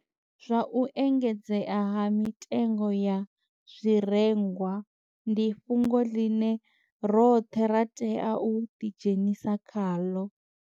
Zwa u engedzea ha mitengo ya zwirengwa ndi fhungo ḽine roṱhe ra tea u ḓi dzhenisa khaḽo.